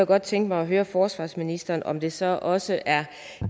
godt tænke mig at høre forsvarsministeren om det så også er